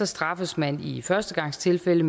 straffes man i førstegangstilfælde